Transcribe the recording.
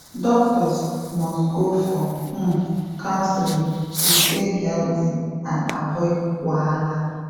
doctors must go for um counseling to stay healthy and avoid wahala